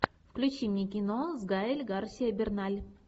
включи мне кино с гаэль гарсиа берналь